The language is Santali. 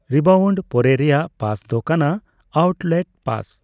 ᱨᱤᱵᱟᱣᱩᱱᱰ ᱯᱚᱨᱮ ᱨᱮᱭᱟᱜ ᱯᱟᱥ ᱫᱚ ᱠᱟᱱᱟ ᱟᱣᱩᱴᱞᱮᱴ ᱯᱟᱥ ᱾